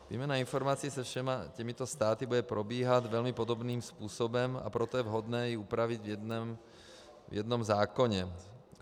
Výměna informací se všemi těmito státy bude probíhat velmi podobným způsobem, a proto je vhodné ji upravit v jednom zákoně.